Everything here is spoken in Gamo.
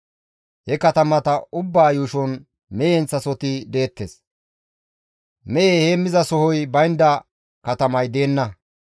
He katamata ubbaa yuushon mehe heemmizasohoti deettes. Mehe heemmizasohoy baynda katamay deenna.